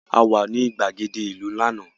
A wà ní ìgbàgede ìlú lánàá